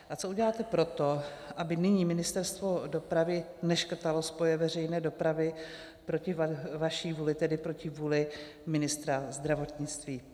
A co uděláte pro to, aby nyní Ministerstvo dopravy neškrtalo spoje veřejné dopravy proti vaší vůli, tedy proti vůli ministra zdravotnictví?